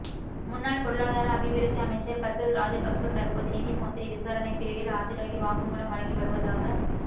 முன்னாள் பொருளாதார அபிவிருத்தி அமைச்சர் பசில் ராஜபக்ச தற்போது நிதி மோசடி விசாரணைப் பிரிவில் ஆஜராகி வாக்குமூலம் வழங்கி வருவதாக